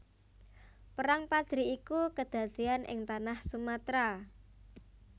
Perang Padri iku kedadéan ing tanah Sumatra